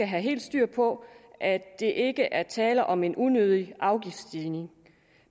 have helt styr på at der ikke er tale om en unødig afgiftsstigning